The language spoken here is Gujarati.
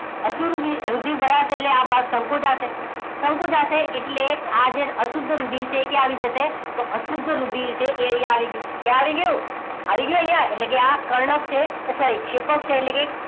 અશુદ્ધ રુધિર અહીં ભરાશે એટલે આ ભાગ સંકોચાશે સંકોચાશે એટલે આજે અશુદ્ધ રુધિર છે એ ક્યાં આવી જશે તો અશુદ્ધ રુધિર છે એ અહીં આવી ગયું આવી ગયું અહીંયા એટલે કે આ કર્ણક છે sorry ક્ષેપક છે એટલે કે